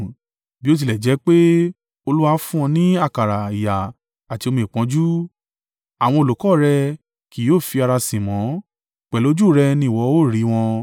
Bí ó tilẹ̀ jẹ́ pé Olúwa fún ọ ní àkàrà ìyà àti omi ìpọ́njú, àwọn olùkọ́ rẹ kì yóò fi ara sin mọ́; pẹ̀lú ojú rẹ ni ìwọ ó rí wọn.